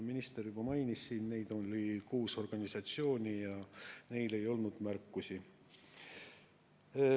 Minister juba mainis, et neid organisatsioone on kuus ja neil ei olnud märkusi.